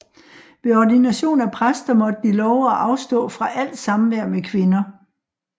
Ved ordination af præster måtte de love at afstå fra alt samvær med kvinder